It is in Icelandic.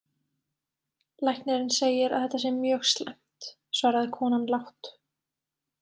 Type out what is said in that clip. Læknirinn segir að þetta sé mjög slæmt, svaraði konan lágt.